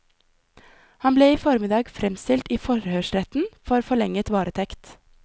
Han ble i formiddag fremstilt i forhørsretten for forlenget varetekt.